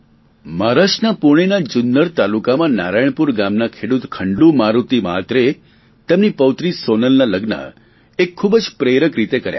મહારાષ્ટ્રના પૂણેના જુન્નર તાલુકામાં નારાયણપુર ગામના ખેડૂત ખંડુ મારુતિ મહાત્રેએ તેમની પૌત્રી સોનલના લગ્ન એક ખૂબ જ પ્રેરક રીતે કર્યા